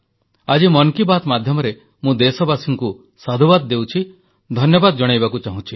ଆଜି ମନ କି ବାତ୍ ମାଧ୍ୟମରେ ମୁଁ ଦେଶବାସୀମାନଙ୍କୁ ସାଧୁବାଦ ଦେଉଛି ଧନ୍ୟବାଦ ଜଣାଇବାକୁ ଚାହେଁ